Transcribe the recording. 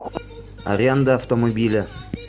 аренда автомобиля